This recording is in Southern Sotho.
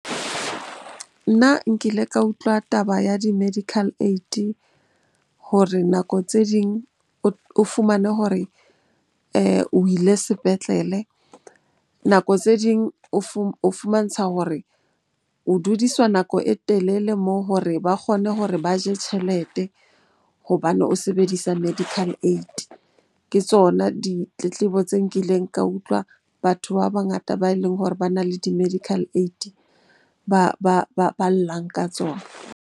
Nna nkile ka utlwa taba ya di-medical aid hore nako tse ding o fumane hore o ile sepetlele. Nako tse ding o fumantshwa hore o dudiswa nako e telele moo hore ba kgone hore ba je tjhelete hobane o sebedisa medical aid. Ke tsona ditletlebo tse nkileng ka utlwa batho ba bangata ba e leng hore bana le di-medical aid ba llang ka tsona.